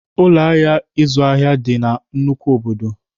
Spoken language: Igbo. Ụlọ ahịa ịzụ ahịa dị na nnukwu obodo.